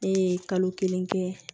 Ne ye kalo kelen kɛ